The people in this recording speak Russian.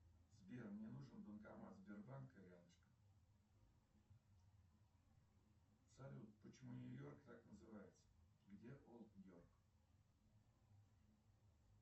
сбер мне нужен банкомат сбербанка рядышком салют почему нью йорк так называется где олд йорк